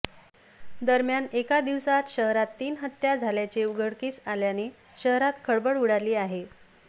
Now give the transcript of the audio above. दरम्यान एका दिवसात शहरात तीन हत्या झाल्याचे उघडकीस आल्याने शहरात खळबळ उडाली आहे